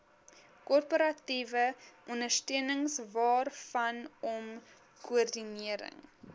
korporatiewe ondersteuningwaarvanom koördinering